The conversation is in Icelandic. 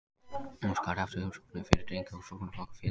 Óskað er eftir umsóknum fyrir drengja- og stúlknaflokka félagsins.